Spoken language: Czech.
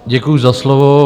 Děkuji za slovo.